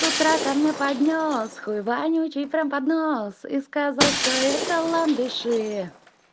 с утра ко мне поднёс хуй вонючий прям под нос и сказал что это ландыши